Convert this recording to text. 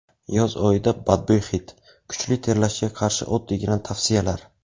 Yoz oyida badbo‘y hid, kuchli terlashga qarshi oddiygina tavsiyalar.